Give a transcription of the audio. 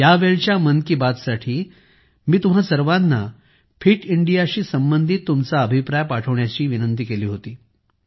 या मन की बातसाठी मी तुम्हा सर्वांना फिट इंडियाशी संबंधित तुमचा अभिप्राय पाठवण्याची विनंती केली होती